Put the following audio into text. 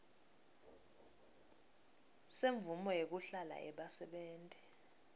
semvumo yekuhlala yebasebenti